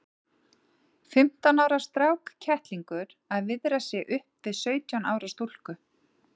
Fimmtán ára strákkettlingur að viðra sig upp við sautján ára stúlku!